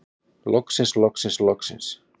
Loksins loksins loksins.